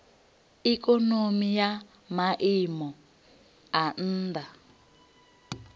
ikonomi ya maiimo a nha